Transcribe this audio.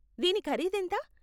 దీని ఖరీదెంత?